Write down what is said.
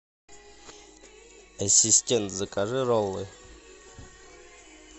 ассистент закажи роллы